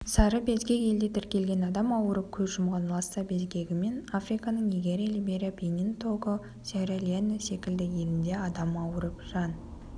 сары безгек елде тіркелген адам ауырып көз жұмған ласса безгегімен африканың нигерия либерия бенин того съерра-леоне секілді елінде адам ауырып жан